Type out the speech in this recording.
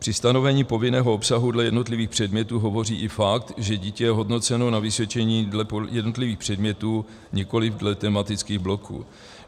Pro stanovení povinného obsahu dle jednotlivých předmětů hovoří i fakt, že dítě je hodnoceno na vysvědčení dle jednotlivých předmětů, nikoliv dle tematických bloků.